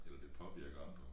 Eller det påvirker andre